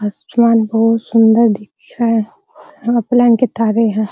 आसमान बहुत सुन्दर दिख रहा के तारे हैं |